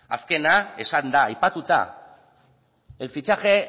azkena esan da aipatuta el fichaje